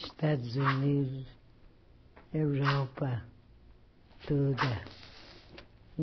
Estados Unidos, Europa, toda.